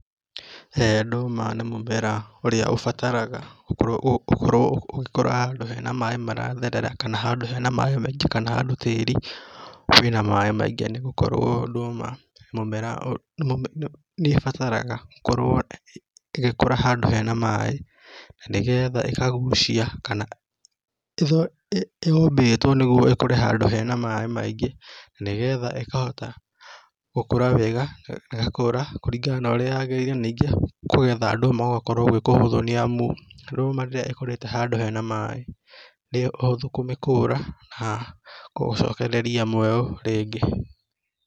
Ndũma nĩ mũmera ũrĩa ũbataraga ũkorwo ũgĩkũra handũ hena maĩ maratherera kana hena handũ hena maĩ maingĩ kana handũ tĩri wĩna maĩ maingĩ nĩgũkorwo ndũma nĩ mũmera, nĩ bataraga ũkorwo ĩgĩkũra handũ hena maĩ nanĩ getha ĩkagucia kana ĩtho.. yombĩtwo nĩguo ĩkũre handũ hena maĩ maingĩ nĩgetha ĩkahota gũkũra wega, ĩgakũra kũringana na ũrĩa yagĩrĩire ningĩ kũgetha ndũma gũgakorwo gwĩ kũhũthũ nĩ amu ndũma rĩrĩa ĩkũrĩte handũ hena maĩ nĩ ũhũthũ kũmĩkũra na kũmĩcokereria muoyo rĩngĩ.